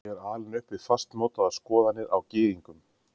Ég er alinn upp við fastmótaðar skoðanir á gyðingum.